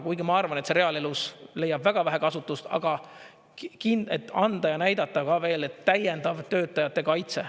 Kuigi ma arvan, et see reaalelus leiab väga vähe kasutust, aga et anda ja näidata ka veel, et täiendav töötajate kaitse.